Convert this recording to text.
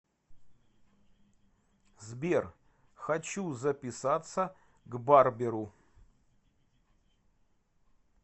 сбер хочу записаться к барберу